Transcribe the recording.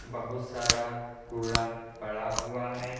बहुत सारा कूड़ा पड़ा हुआ है।